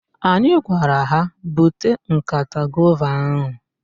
Anyị gwara ha, "bute nkata gova ahụ"!